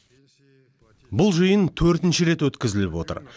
бұл жиын төртінші рет өткізіліп отыр